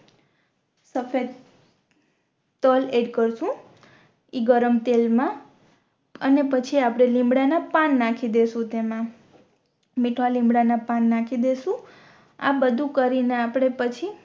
સફેદ સફેદ તલ એડ કરશું ઇ ગરમ તેલ મા અને પછી આપણે લીમડા ના પાન નાખી દેસું તેમા મીઠા લીમડા ના પાન નાખી દેસું આ બધુ કરીને આપણે પછી